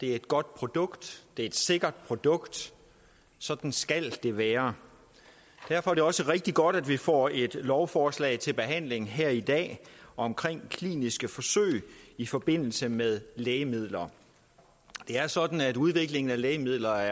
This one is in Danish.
er et godt produkt et sikkert produkt sådan skal det være derfor er det også rigtig godt at vi får et lovforslag til behandling her i dag om kliniske forsøg i forbindelse med lægemidler det er sådan at udviklingen af lægemidler